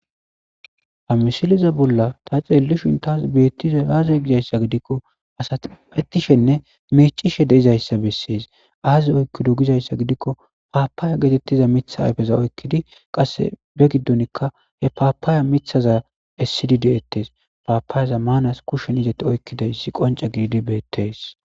Hamishiliza bolla ta xeelishin taas beettishe aazey gizayssa gidikko asatapetishenne meecishe deizayssa bessees aaze oykkido gizayssa gidikko paapaaya geetettiza mitha ayfeza oykkidi qasse be giddonikka he paapaaya mithaza essidideettes paapaayeza maanas kushshen izati oykkidayssi qonca gididi beettees.